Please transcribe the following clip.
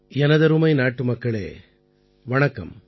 எனதருமை நாட்டுமக்களே வணக்கம்